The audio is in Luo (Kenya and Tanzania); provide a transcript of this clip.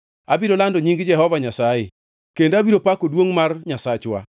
Abiro lando nying Jehova Nyasaye kendo abiro pako duongʼ mar Nyasachwa!